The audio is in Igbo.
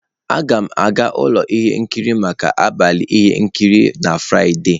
Aga m aga ụlọ ihe nkiri maka abalị ihe nkiri na Fraịde.